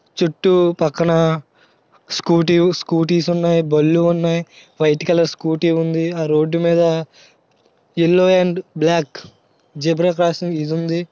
చుట్టూ పక్కల scooty scooties ఉన్నాయి బండ్లు ఉన్నాయి వైట్ కలర్ స్కూటీ ఉంది. ఆ రోడ్డు మీద yellow and black zebra crossing ఇదుంది.